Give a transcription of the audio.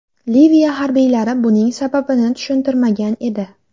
Liviya harbiylari buning sababini tushuntirmagan edi.